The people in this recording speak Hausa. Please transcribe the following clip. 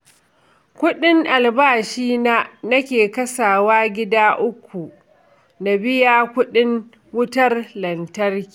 Kuɗin albashina nake kasawa gida uku na biya kuɗin wutar lantarki